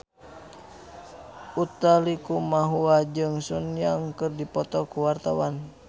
Utha Likumahua jeung Sun Yang keur dipoto ku wartawan